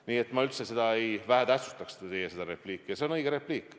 Nii et ma üldse ei vähetähtsustaks teie seda repliiki, see on õige repliik.